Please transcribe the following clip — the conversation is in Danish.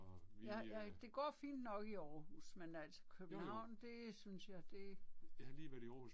Jeg jeg det går fint nok i Aarhus, men altså København det synes jeg, det